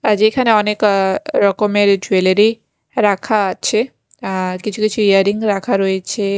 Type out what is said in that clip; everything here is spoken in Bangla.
আ যেখানে অনেক আঃ রকমের জুয়েলারি রাখা আছে আঃ কিছু কিছু ইয়ার রিং রাখা রয়েছে।